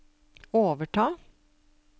overta